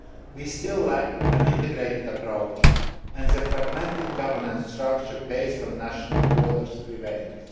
We still lack an integrated approach, and the fragmented governance structure based on national borders prevails.